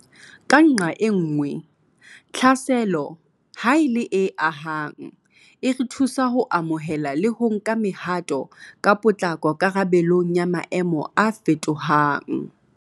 Ka nqae nngwe, tlhaselo, ha e le e ahang, e re thusa ho amohela le ho nka mehato ka potlako karabelong ya maemo a fetohang.